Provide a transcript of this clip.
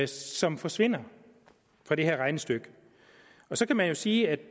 som forsvinder fra det her regnestykke og så kan man jo sige at